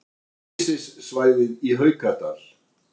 Geysissvæðið í Haukadal